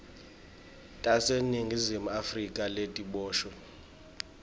taseningizimu afrika letiboshwe